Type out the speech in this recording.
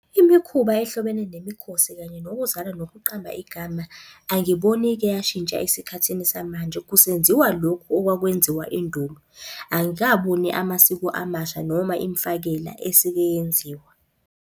Imikhuba ehlobene nemikhosi kanye nokuzalwa nokuqamba igama, angiboni ike yashintsha esikhathini samanje kusenziwa lokhu okwakwenziwa endulo. Angikaboni amasiko amasha noma imifakela esike yenziwa.